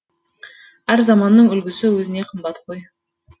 әр заманның үлгісі өзіне қымбат қой